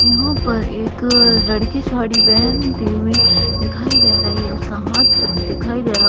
यहाँ पर एक लड़की साड़ी पहनती हुई दिखाई दे रही उसका हाथ सिर्फ दिखाई दे रहा।